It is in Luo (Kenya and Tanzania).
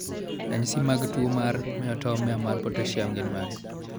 Ranyisi mag tuwo mar myotonia mar Potassium gin mage?